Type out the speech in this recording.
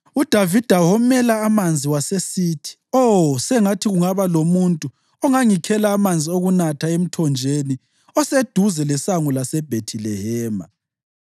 UDavida womela amanzi wasesithi, “Oh, sengathi kungaba lomuntu ongangikhela amanzi okunatha emthonjeni oseduze lesango laseBhethilehema!”